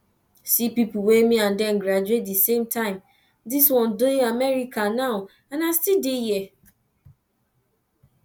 see people wey me and dem graduate the same time dis one dey america now and i still dey here